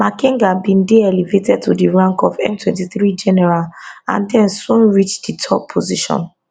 makenga bin dey elevated to di rank of m23 general and den soon reach di top position